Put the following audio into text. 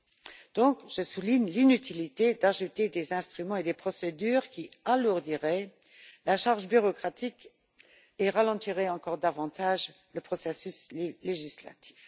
Par conséquent, je souligne l'inutilité d'ajouter des instruments et des procédures qui alourdiraient la charge bureaucratique et ralentiraient encore davantage le processus législatif.